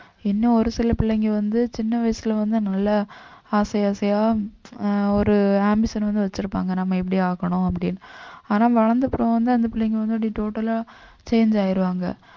இன்னும் ஒரு சில பிள்ளைங்க வந்து சின்ன வயசுல வந்து நல்லா ஆசைஆசையா ஆஹ் ஒரு ambition வந்து வச்சிருப்பாங்க நம்ம எப்படி ஆக்கணும் அப்படின்னு ஆனா வளர்ந்த அப்புறம் வந்து அந்த பிள்ளைங்க வந்து அப்படி total ஆ change ஆயிருவாங்க